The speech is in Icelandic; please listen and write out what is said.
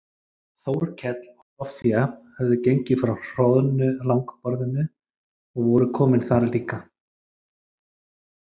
Þórkell og Soffía höfðu gengið frá hroðnu langborðinu og voru komin þar líka.